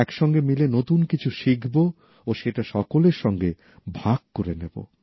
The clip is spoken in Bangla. একসঙ্গে মিলে কিছু নতুন শিখব ও সেটা সকলের সঙ্গে ভাগ করে নেব